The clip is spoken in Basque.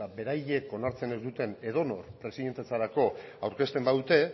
beraiek onartzen ez duten edonor presidentetzarako aurkezten badute